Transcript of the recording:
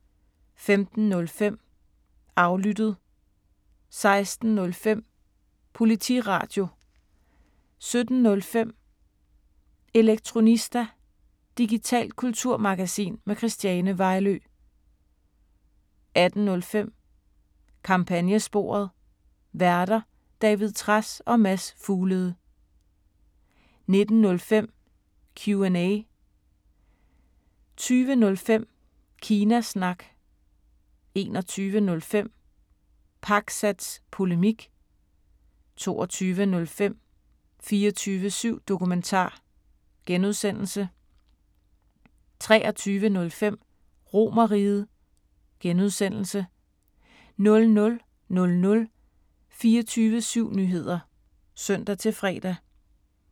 15:05: Aflyttet 16:05: Politiradio 17:05: Elektronista – digitalt kulturmagasin med Christiane Vejlø 18:05: Kampagnesporet: Værter: David Trads og Mads Fuglede 19:05: Q&A 20:05: Kina Snak 21:05: Pakzads Polemik 22:05: 24syv Dokumentar (G) 23:05: RomerRiget (G) 00:00: 24syv Nyheder (søn-fre)